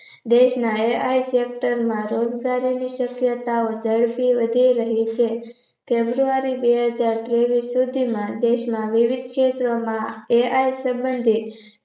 દેશના AI sector માં રોજગારીની શક્યતાઓ ઝડપથી વધી રહી છે ફેબ્રુઆરી બેહજાર ત્રેવીસ સુધીમાં દેશના વિવિધ ક્ષેત્રોમાં AI સંબંધિત